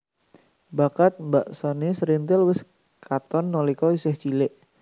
Bakat mbeksané srintil wis katon nalika isih cilik